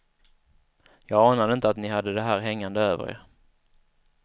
Jag anade inte att ni hade det här hängande över er.